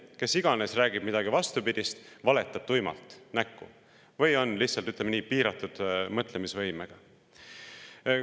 Kes iganes räägib midagi vastupidist, see valetab tuimalt näkku või on lihtsalt, ütleme nii, piiratud mõtlemisvõimega.